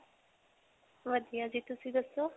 ਵਧੀਆ ਜੀ ਤੁਸੀਂ ਦੱਸੋ?